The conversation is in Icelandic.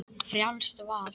Frjálst val!